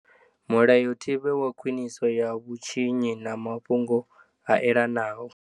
Mulayotibe wa Khwiniso ya vhutshinyi na mafhungo a elanaho.